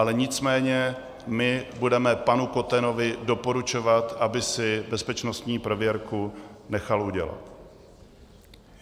Ale nicméně my budeme panu Kotenovi doporučovat, aby si bezpečnostní prověrku nechal udělat.